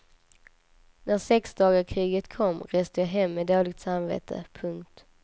När sexdagarskriget kom reste jag hem med dåligt samvete. punkt